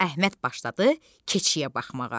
Əhməd başladı keçiyə baxmağa.